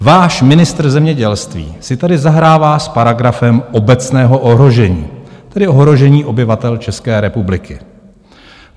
Váš ministr zemědělství si tady zahrává s paragrafem obecného ohrožení, tedy ohrožení obyvatel České republiky.